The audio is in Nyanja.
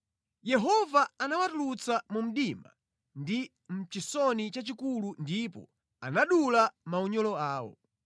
Yehova anawatulutsa mu mdima ndi mʼchisoni chachikulu ndipo anadula maunyolo awo.